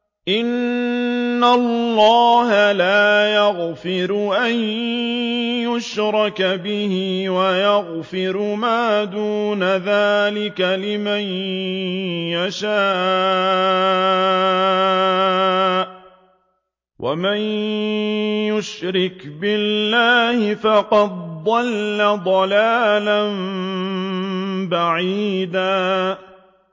إِنَّ اللَّهَ لَا يَغْفِرُ أَن يُشْرَكَ بِهِ وَيَغْفِرُ مَا دُونَ ذَٰلِكَ لِمَن يَشَاءُ ۚ وَمَن يُشْرِكْ بِاللَّهِ فَقَدْ ضَلَّ ضَلَالًا بَعِيدًا